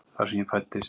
Þar sem ég fæddist.